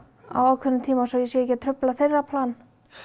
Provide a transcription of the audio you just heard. á ákveðnum tíma svo ég sé ekki að trufla þeirra plan